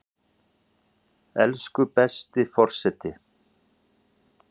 Elsku besti forseti!